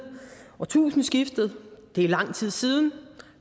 årtusindskiftet det er lang tid siden